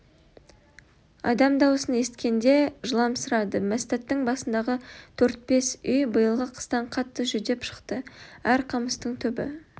адам даусын есіткенде жыламсырады мәстәттің басындағы төрт-бес үй биылғы қыстан қатты жүдеп шықты әр қамыстың түбі